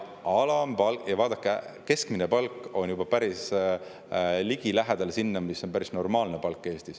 Vaadake, keskmine palk on juba päris lähedal sellele, mis on Eestis päris normaalne palk.